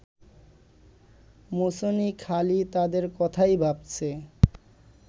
মেছুনী খালি তাদের কথাই ভাবছে